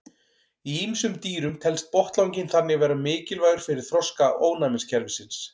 Í ýmsum dýrum telst botnlanginn þannig vera mikilvægur fyrir þroska ónæmiskerfisins.